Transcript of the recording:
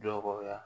Dɔgɔya